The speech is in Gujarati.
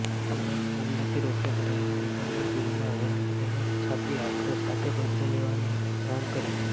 પુલવામા હુમલાથી રોષે ભરાયેલા વેપારીએ બીલમાં હેન્ડ ગ્રેનેડ છાપી આક્રોશ સાથે બદલો લેવાની માંગ કરી